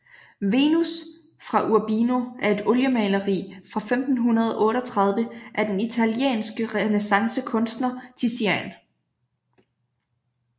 Venus fra Urbino er et oliemaleri fra 1538 af den italienske renæssancekunstner Tizian